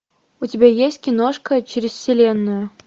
у тебя есть киношка через вселенную